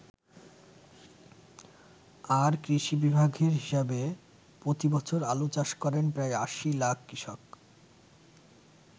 আর কৃষি বিভাগের হিসেবে, প্রতিবছর আলু চাষ করেন প্রায় ৮০ লাখ কৃষক।